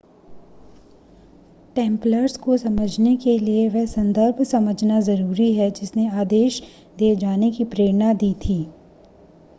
Templars को समझने के लिए वह संदर्भ समझना ज़रूरी है जिसने आदेश दिए जाने की प्रेरणा दी थी